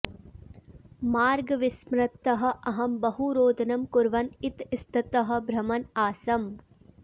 मार्गविस्मृतः अहं बहु रोदनं कुर्वन् इतस्ततः भ्रमन् आसम्